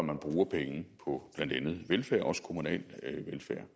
man bruger penge på blandt andet velfærd også kommunal velfærd